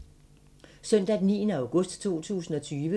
Søndag d. 9. august 2020